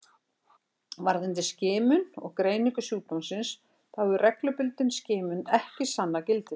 Varðandi skimun og greiningu sjúkdómsins þá hefur reglubundin skimun ekki sannað gildi sitt.